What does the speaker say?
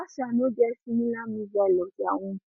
russia no get similar missile of dia own